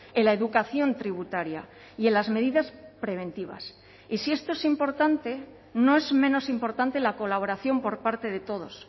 en la educación tributaria y en las medidas preventivas y si esto es importante no es menos importante la colaboración por parte de todos